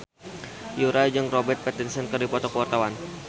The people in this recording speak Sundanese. Yura jeung Robert Pattinson keur dipoto ku wartawan